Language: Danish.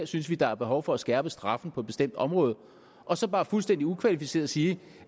synes der er behov for at skærpe straffen på et bestemt område og så bare fuldstændig ukvalificeret sige